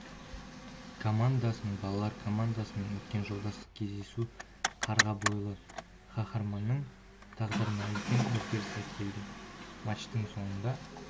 командасының балалар командасымен өткен жолдастық кездесу қарға бойлы қаһарманның тағдырына үлкен өзгеріс әкелді матчтың соңында